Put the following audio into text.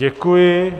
Děkuji.